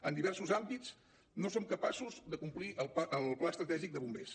en diversos àmbits no som capaços de complir el pla estratègic de bombers